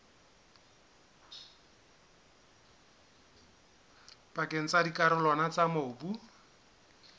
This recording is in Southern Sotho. pakeng tsa dikarolwana tsa mobu